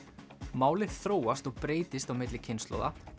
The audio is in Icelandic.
málið þróast og breytist á milli kynslóða